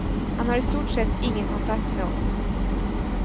Han har i stort sett ingen kontakt med oss.